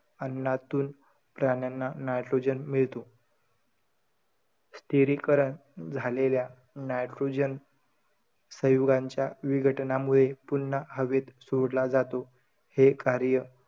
अन्नातून प्राण्यांना nitrogen मिळतो. स्थिरीकरण झालेल्या nitrogen, संयुगांच्या विघटनामुळे पुन्हा हवेत सोडला जातो. हे कार्य,